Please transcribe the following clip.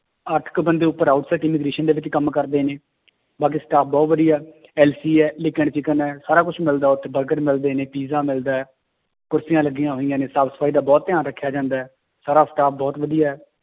ਅੱਠ ਕੁ ਬੰਦੇ ਉੱਪਰ ਦੇ ਵਿੱਚ ਕੰਮ ਕਰਦੇ ਨੇ ਬਾਕੀ staff ਬਹੁਤ ਵਧੀਆ ਹੈ ਹੈ ਸਾਰਾ ਕੁਛ ਮਿਲਦਾ ਉੱਥੇ ਬਰਗਰ ਵੀ ਮਿਲਦੇ ਨੇ ਪੀਜਾ ਮਿਲਦਾ ਹੈ, ਕੁਰਸੀਆਂ ਲੱਗੀਆਂ ਹੋਈਆਂ ਨੇ ਸਾਫ਼ ਸਫ਼ਾਈ ਦਾ ਬਹੁਤ ਧਿਆਨ ਰੱਖਿਆ ਜਾਂਦਾ ਹੈ, ਸਾਰਾ staff ਬਹੁਤ ਵਧੀਆ ਹੈ